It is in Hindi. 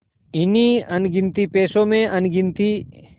इन्हीं अनगिनती पैसों में अनगिनती